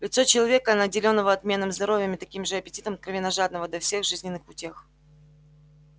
лицо человека наделённого отменным здоровьем и таким же аппетитом откровенно жадного до всех жизненных утех